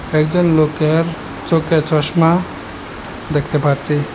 একজন লোকের চোখে চশমা দেখতে পারছি।